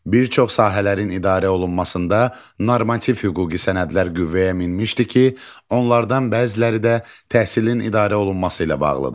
Bir çox sahələrin idarə olunmasında normativ hüquqi sənədlər qüvvəyə minmişdi ki, onlardan bəziləri də təhsilin idarə olunması ilə bağlıdır.